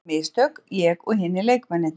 Við gerðum mistök, ég og hinir leikmennirnir.